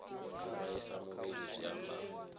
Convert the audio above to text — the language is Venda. u vhaisa muvhili zwi amba